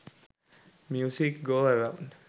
music go round